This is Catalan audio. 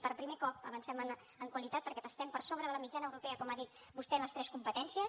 per primer cop avancem en qualitat perquè estem per sobre de la mitjana europea com ha dit vostè en les tres competències